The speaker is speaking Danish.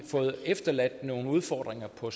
efterladt nogle udfordringer på